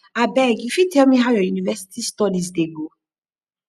abeg you fit tell me how your university studies dey go